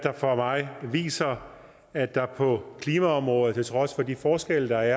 for mig viser at der på klimaområdet på trods af de forskelle der